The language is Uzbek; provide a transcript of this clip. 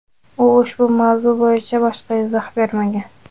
U ushbu mavzu bo‘yicha boshqa izoh bermagan.